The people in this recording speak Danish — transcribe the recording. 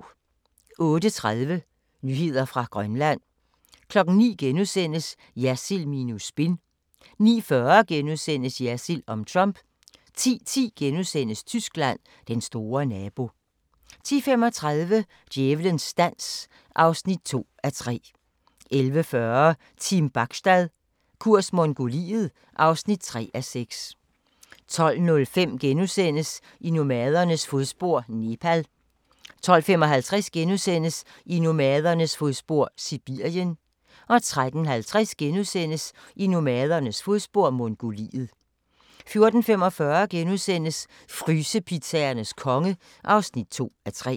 08:30: Nyheder fra Grønland 09:00: Jersild minus spin * 09:40: Jersild om Trump * 10:10: Tyskland: Den store nabo * 10:35: Djævelens dans (2:3) 11:40: Team Bachstad – kurs Mongoliet (3:6) 12:05: I nomadernes fodspor: Nepal * 12:55: I nomadernes fodspor: Sibirien * 13:50: I nomadernes fodspor: Mongoliet * 14:45: Frysepizzaernes konge (2:3)*